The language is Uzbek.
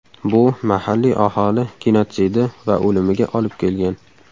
Bu mahalliy aholi genotsidi va o‘limiga olib kelgan.